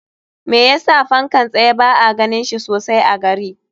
Me yasa fankan tsaye ba a ganin shi sosai a gari?